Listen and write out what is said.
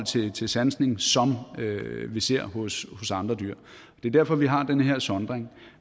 til sansning som vi ser hos andre dyr det er derfor at vi har den her sondring